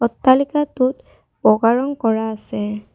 অট্টালিকাটোত বগা ৰং কৰা আছে।